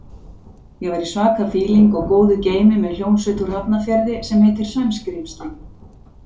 Ég var í svaka fíling og góðu geimi með hljómsveit úr Hafnarfirði sem heitir Sæskrímslin.